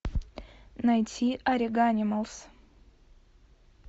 найти ориганималс